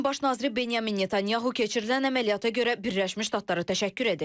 İsrailin baş naziri Benyamin Netanyahu keçirilən əməliyyata görə Birləşmiş Ştatlara təşəkkür edib.